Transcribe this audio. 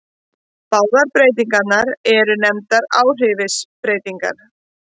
Báðar breytingarnar eru nefndar áhrifsbreytingar.